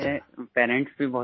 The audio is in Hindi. मेरे पेरेंट्स भी